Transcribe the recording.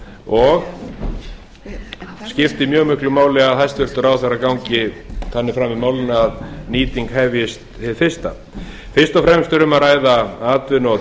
og skiptir mjög miklu máli að hæstvirtur ráðherra gangi þannig fram í málinu að nýting hefjist hið fyrsta fyrst og fremst er um að ræða atvinnu og